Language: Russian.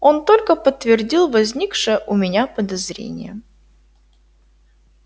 он только подтвердил возникшее у меня подозрение